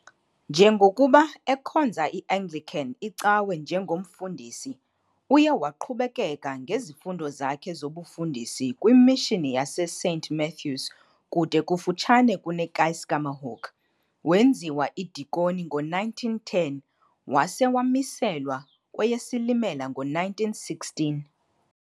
Njengokuba ekhonza iAnglican icawe njengomfundisi, uye waqhubekeka ngezifundo zakhe zobufundisi kwimishini yaseSaint Matthews kude kufutshane kuneKeiskamahoek, wenziwa idikoni ngo-1910 wase wamiselwa kweyeSilimela ngo-1916.